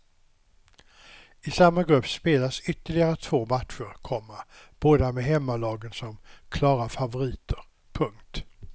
I samma grupp spelas ytterligare två matcher, komma båda med hemmalagen som klara favoriter. punkt